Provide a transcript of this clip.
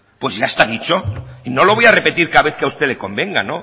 pues ya está dicho y no lo voy a repetir cada vez que a usted le convenga